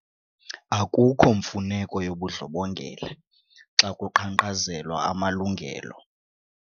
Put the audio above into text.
Akukho mfuneko yobundlobongela xa kuqhankqazelwa amalungelo.